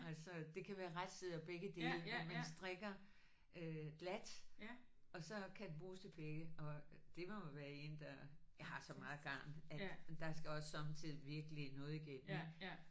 Altså det kan være retsider begge dele hvor man strikker glat og så kan den bruges til begge og det må være én der jeg har så meget garn at der skal også sommetider virkelig noget igennem ikk